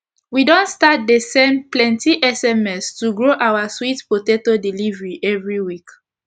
we don start dey send plenti sms to grow our sweet potato delivery everi week